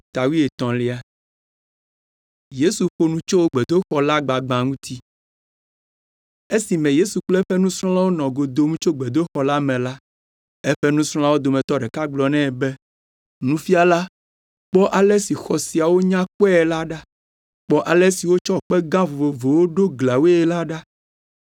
Esime Yesu kple eƒe nusrɔ̃lawo nɔ go dom tso gbedoxɔ la me la, eƒe nusrɔ̃lawo dometɔ ɖeka gblɔ nɛ be, “Nufiala, kpɔ ale si xɔ siawo nya kpɔe la ɖa. Kpɔ ale si wotsɔ kpe gã vovovowo ɖo gliawoe la ɖa.”